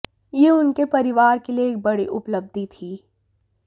यह उनके परिवार के लिए एक बड़ी उपलब्धि थी